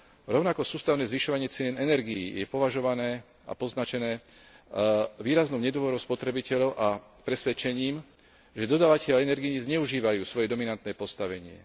Rovnako sústavné zvyšovanie cien energií je považované a poznačené výraznou nedôverou spotrebiteľov a presvedčením, že dodávatelia energií zneužívajú svoje dominantné postavenie.